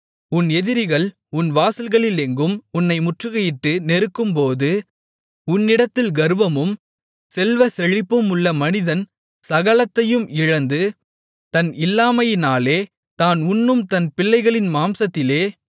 உன் எதிரிகள் உன் வாசல்களிலெங்கும் உன்னை முற்றுகையிட்டு நெருக்கும்போது உன்னிடத்தில் கர்வமும் செல்வச்செழிப்புமுள்ள மனிதன் சகலத்தையும் இழந்து தன் இல்லாமையினாலே தான் உண்ணும் தன் பிள்ளைகளின் மாம்சத்திலே